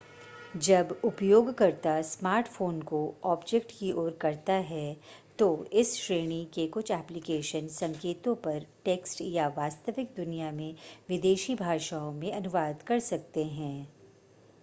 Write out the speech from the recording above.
जब उपयोगकर्ता स्मार्टफ़ोन को ऑब्जेक्ट की ओर करता है तो इस श्रेणी के कुछ एप्लिकेशन संकेतों पर टेक्स्ट या वास्तविक दुनिया में विदेशी भाषाओं में अनुवाद कर सकते हैं